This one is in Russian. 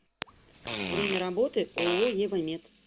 время работы ооо евамед